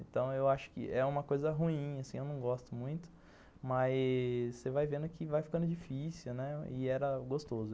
Então eu acho que é uma coisa ruim assim, eu não gosto muito, mas você vai vendo que vai ficando difícil, né, e era gostoso.